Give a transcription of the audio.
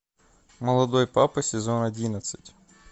молодой папа сезон одиннадцать